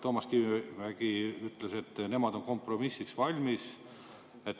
Toomas Kivimägi ütles, et nemad on kompromissiks valmis.